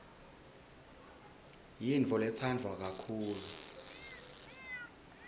yintfoletsandwa kakhulu